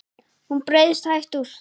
Hún breiðst hægt út.